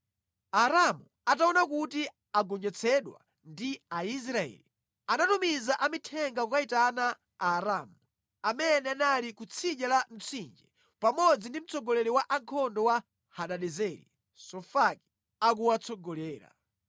Aaramu ataona kuti agonjetsedwa ndi Aisraeli, anatumiza amithenga kukayitana Aaramu amene anali ku tsidya la Mtsinje, pamodzi ndi mtsogoleri wa ankhondo wa Hadadezeri, Sofaki akuwatsogolera.